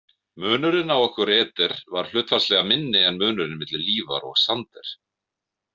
Munurinn á okkur Eder var hlutfallslega minni en munurinn milli Lífar og Sander.